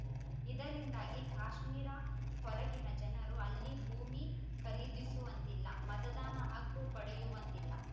ಇದರಿಂದಾಗಿ ಕಾಶ್ಮೀರ ಹೊರಗಿನ ಜನರು ಅಲ್ಲಿ ಭೂಮಿ ಖರೀದಿಸುವಂತಿಲ್ಲ ಮತದಾನ ಹಕ್ಕು ಪಡೆಯುವಂತಿಲ್ಲ